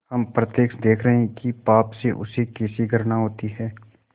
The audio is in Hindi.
हम प्रत्यक्ष देख रहे हैं कि पाप से उसे कैसी घृणा होती है